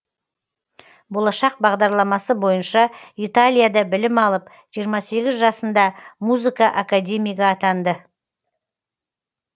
болашақ бағдарламасы бойынша италияда білім алып жиырма сегіз жасында музыка академигі атанды